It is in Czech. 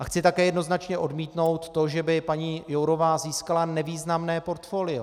A chci také jednoznačně odmítnout to, že by paní Jourová získala nevýznamné portfolio.